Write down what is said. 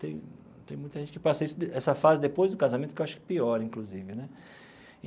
Tem tem muita gente que passa isso essa fase depois do casamento, que eu acho que pior, inclusive né.